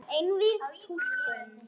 Einvíð túlkun